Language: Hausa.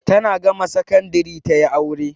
Tana gama sakandari ta yi aure.